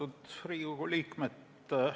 Austatud Riigikogu liikmed!